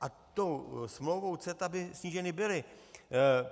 A tou smlouvou CETA by sníženy byly.